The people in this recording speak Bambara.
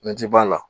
Ne ti b'a la